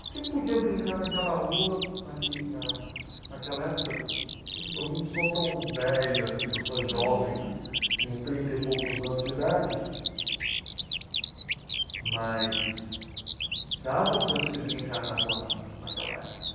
Você podia brincar naquela rua, naquele na, naquela época, eu não sou tão velho assim, eu sou jovem né, tenho trinta e poucos anos de idade, mas dava para se brincar na rua na naquela época.